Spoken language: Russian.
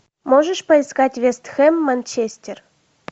можешь поискать вест хэм манчестер